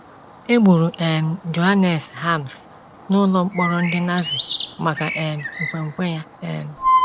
E gburu um Johannes Harms n'ụlọ mkpọrọ ndị Nazi maka um nkwenkwe ya. um